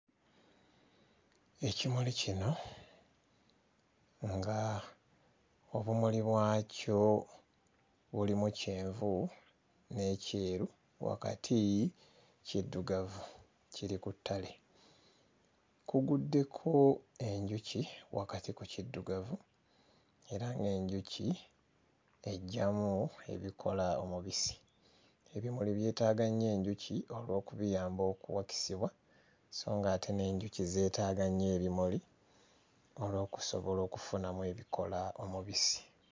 Ekimuli kino nga obumuli bwakyo bulimu kyenvu n'ekyeru, wakati kiddugavu kiri ku ttale. Kuguddeko enjuki wakati ku kiddugavu, era ng'enjuki eggyamu ebikola omubisi. Ebimuli byetaaga nnyo enjuki olw'okubiyamba okuwakisibwa, so ng'ate n'enjuki zeetaaga nnyo ebimuli olw'okusobola okufunamu ebikola omubisi.